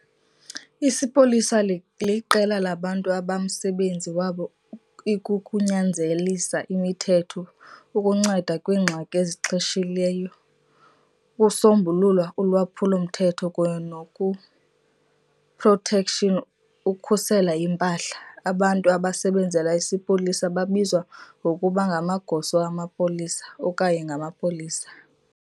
Isipolisa liqela labantu abamsebenzi wabo ikukunyanzelisa imithetho, ukunceda kwiingxaki ezixheshileyo, ukusombulula ulwaphulo mthetho kunye nokuprotection|ukhusela impahla. abantu abasebenzela isipolisa babizwa ngokuba ngamagosa amapolisa okanye ngamapolisa.